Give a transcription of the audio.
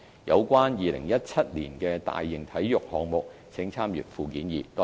有關2017年的大型體育項目請參閱附件二。